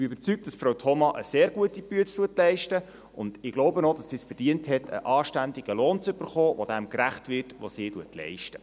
Ich bin überzeugt, dass Frau Thoma eine sehr gute Arbeit leistet, und ich glaube auch, dass sie es verdient hat, einen anständigen Lohn zu erhalten, der dem gerecht wird, was sie leistet.